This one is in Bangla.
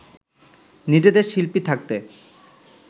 নিজেদের শিল্পী থাকতে